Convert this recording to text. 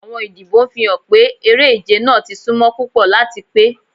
Awọn idibo n fihan pe ere-ije naa ti sunmo pupọ lati pe